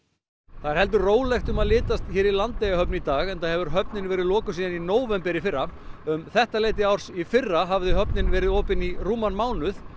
það er heldur rólegt um að litast hér í Landeyjahöfn í dag enda hefur höfnin verið lokuð síðan í nóvember í fyrra um þetta leyti árs í fyrra hafði höfnin verið opin í rúman mánuð